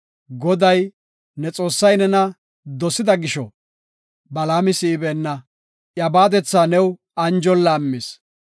Goday, ne Xoossay nena dosida gisho Balaama si7ibeenna; iya baadetha new anjon laammis.